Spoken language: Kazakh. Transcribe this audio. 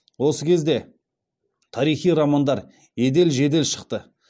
осы кезде тарихи романдар едел жедел шықты